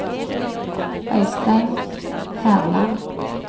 Øystein Herland